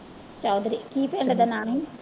ਚੌਧਰੀ, ਕੀ ਪਿੰਡ ਦਾ ਨਾਮ ਹੈ?